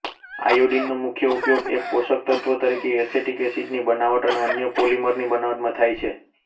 આયોડિનનો મુખ્ય ઉપયોગ એક પોષકતત્વ તરીકે એસેટિક એસિડની બનાવટ અને અન્ય પોલીમરની બનાવટમાં થાય છે